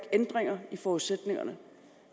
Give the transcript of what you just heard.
ændringer i forudsætningerne